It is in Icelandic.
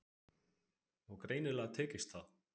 Og greinilega tekist það.